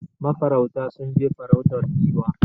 Ma farauta sun je farautar Giwa